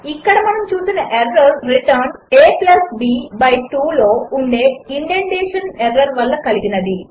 ఇక్కడ మనము చూసిన ఎర్రర్ రిటర్న్ aబ్2 లో ఉండే ఇండెంటేషన్ ఎర్రర్ వల్ల కలిగినది